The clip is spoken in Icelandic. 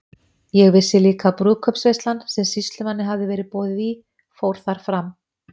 Ég vissi líka að brúðkaups- veislan, sem sýslumanni hafði verið boðið í, fór þar fram.